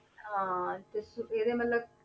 ਹਾਂ ਤੇ ਸ~ ਇਹਦੇ ਮਤਲਬ